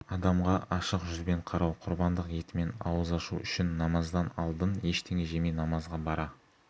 адамға ашық жүзбен қарау құрбандық етімен ауыз ашу үшін намаздан алдын ештеңе жемей намазға бара